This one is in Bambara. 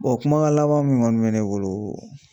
kumakan laban min kɔni bɛ ne bolo